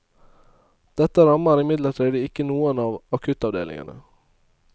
Dette rammer imidlertid ikke noen av akuttavdelingene.